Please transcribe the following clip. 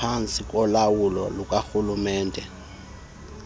phantsi kolawulo lukarhulumente